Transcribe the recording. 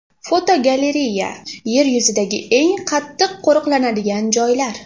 Fotogalereya: Yer yuzidagi eng qattiq qo‘riqlanadigan joylar.